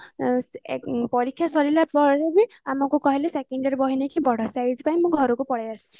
ପରୀକ୍ଷା ସରିଲା ପରେ ବି ଆମକୁ କହିଲେ second year ବହି ନେଇକି ପଢ ସେଇଥି ପାଇଁ ମୁଁ ଘରକୁ ପଳେଇ ଆସିଛି